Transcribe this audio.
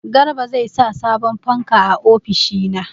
Garba zai sa sabon fanka a ofishina.